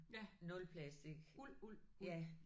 Ja. Uld uld uld